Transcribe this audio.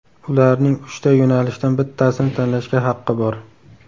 Ularning uchta yo‘nalishdan bittasini tanlashga haqqi bor.